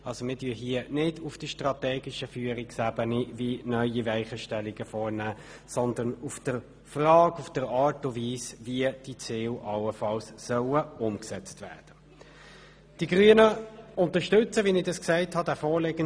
Wir diskutieren hier nicht auf der strategischen Führungsebene, um neue Weichenstellungen vorzunehmen, sondern über die Frage, in welcher Art und Weise diese Ziele allenfalls umgesetzt werden sollen.